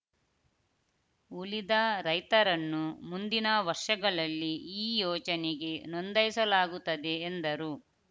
ಉಳಿದ ರೈತರನ್ನು ಮುಂದಿನ ವರ್ಷಗಳಲ್ಲಿ ಈ ಯೋಜನೆಗೆ ನೊಂದಯಿಸಲಾಗುತ್ತದೆ ಎಂದರು